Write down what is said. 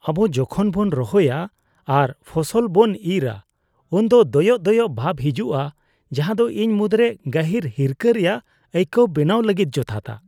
ᱟᱵᱚ ᱡᱚᱠᱷᱚᱱ ᱵᱚᱱ ᱨᱚᱦᱚᱭᱟ ᱟᱨ ᱯᱷᱚᱥᱚᱞ ᱵᱚᱱ ᱤᱨᱟ ᱩᱱᱫᱚ ᱫᱚᱭᱚᱜ ᱫᱚᱭᱚᱜ ᱵᱷᱟᱵᱽ ᱦᱤᱡᱩᱜᱼᱟ, ᱡᱟᱦᱟᱸ ᱫᱚ ᱤᱧ ᱢᱩᱫᱽᱨᱮ ᱜᱟᱹᱦᱤᱨ ᱦᱤᱨᱠᱟᱹ ᱨᱮᱭᱟᱜ ᱟᱹᱭᱠᱟᱹᱣ ᱵᱮᱱᱟᱣ ᱞᱟᱹᱜᱤᱫ ᱡᱚᱛᱷᱟᱛᱟ ᱾